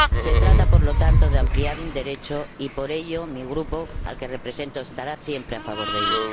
Se trata, por lo tanto, de ampliar un derecho y, por ello, mi Grupo, al que represento, estará siempre a favor de ello.